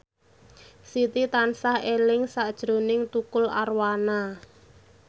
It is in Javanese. Siti tansah eling sakjroning Tukul Arwana